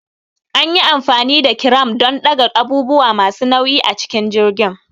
An yi amfani da kiram don ɗaga abubuwa masu nauyi a cikin jirgin.